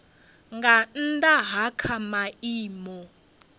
nga nnda ha kha maimo